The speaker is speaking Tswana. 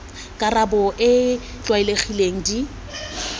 karabo e e tlwaelegileng di